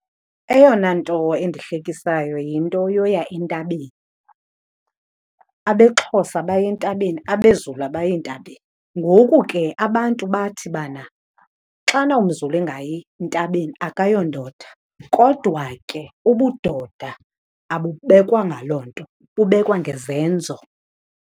Eyona nto endihlekisayo yinto yoya entabeni. AbeXhosa baya entabeni, abeZulu abayi ntabeni. Ngoku ke abantu bathi bana xana umZulu engayi ntabeni akayondoda, kodwa ke ubudoda abubekwa ngaloo nto, bubekwa ngezenzo.